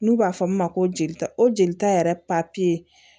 N'u b'a fɔ min ma ko jelita o jelita yɛrɛ papiye